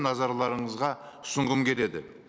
назарларыңызға ұсынғым келеді